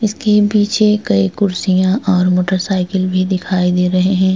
इसके पीछे कई कुर्सिया और मोटर साइकिल भी दिखाई दे रहे हैं।